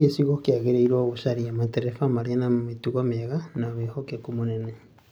Gĩcigo kĩagĩrĩirwo gũcaria matereba marĩ na mĩtugo mĩega na wĩhokeku mũnene